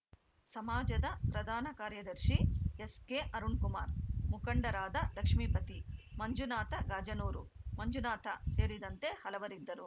ಸಮಾಜದ ಪ್ರಧಾನ ಕಾರ್ಯದರ್ಶಿ ಎಸ್‌ ಕೆ ಅರುಣ್‌ ಕುಮಾರ್‌ ಮುಖಂಡರಾದ ಲಕ್ಷ್ಮೇಪತಿ ಮಂಜುನಾಥ ಗಾಜನೂರು ಮಂಜುನಾಥ ಸೇರಿದಂತೆ ಹಲವರಿದ್ದರು